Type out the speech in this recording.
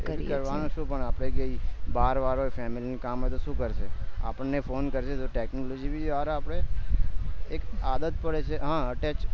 કરાવનો છુ પણ આપણે કઈ એ બાર વારો family કામ હશે તો સુ કરશે આપણે ફોન કરશે તો technology બી હારે આપડે એ આદત પડે છે